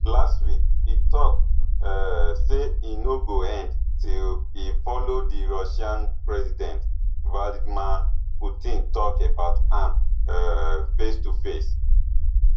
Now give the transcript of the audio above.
last week e tok um say e no go end till e follow di russia president vladimir putin tok about am um facetoface